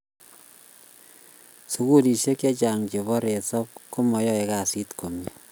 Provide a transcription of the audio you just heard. sukulisek che chang che bo resap komai kasit komie